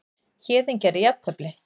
Héðinn gerði jafntefli